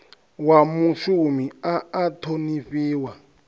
wa mushumi a a ṱhonifhiwa